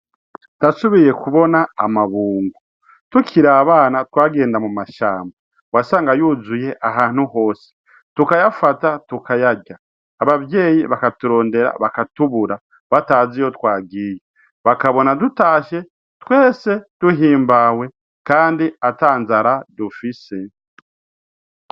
Ndasubiye kubona amabungo. Tukiri abana twagenda mu mashamba wasanga yuzuye ahantu hose tukayafata tukayarya abavyeyi bakaturondera bakatubura batazi iyo twagiye bakabona dutashe twese duhimbawe kandi atanzara dufise.